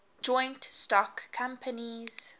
joint stock companies